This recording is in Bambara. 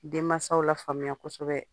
Den masaw la faamuya kosɛbɛ.